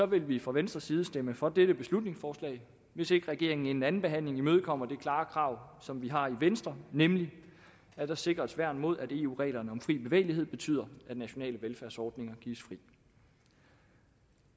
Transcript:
vil vi fra venstres side stemme for dette beslutningsforslag hvis ikke regeringen inden andenbehandlingen imødekommer det klare krav som vi har i venstre nemlig at der sikres værn mod at eu reglerne om fri bevægelighed betyder at nationale velfærdsordninger gives fri